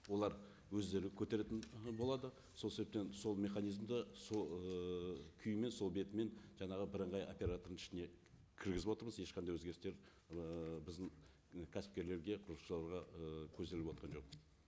олар өздері көтеретін ы болады сол себептен сол механизмді сол ыыы күймен сол бетімен жаңағы бірыңғай оператордың ішіне кіргізіп отырмыз ешқандай өзгерістер ыыы біздің і кәсіпкерлерге құрылысшыларға і көзделіп отырған жоқ